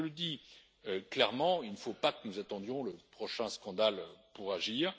Je le dis clairement, il ne faut pas que nous attendions le prochain scandale pour agir.